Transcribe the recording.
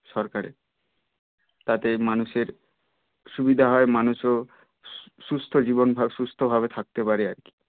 সরকারের তাতে মানুষের সুবিধা হয় মানুষও সু~সুস্থ জীবন সুস্থ ভাবে থাকতে পারে আর কি